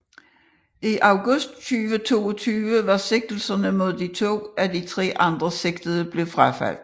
I august 2022 var sigtelserne mod to af de tre andre sigtede blevet frafaldet